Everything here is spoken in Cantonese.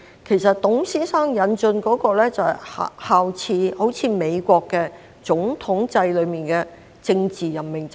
其實，董先生引進的，就是效法美國總統制中的政治任命制。